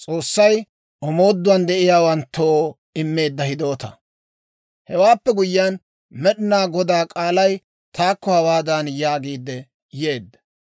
Hewaappe guyiyaan Med'inaa Godaa k'aalay taakko hawaadan yaagiidde yeedda;